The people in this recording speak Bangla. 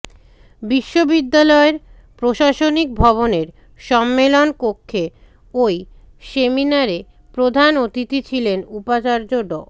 বিশ্ববিদ্যালয়ের প্রশাসনিক ভবনের সম্মেলন কক্ষে ওই সেমিনারে প্রধান অতিথি ছিলেন উপাচার্য ড